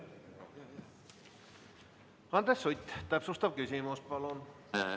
Andres Sutt, täpsustav küsimus palun!